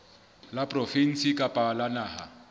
la provinse kapa la naha